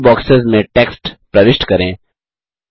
इन boxes में text प्रविष्ट करें